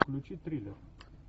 включи триллер